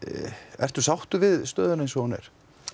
ertu sáttur við stöðuna eins og hún er